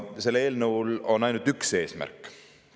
Sellel eelnõul on ainult üks eesmärk.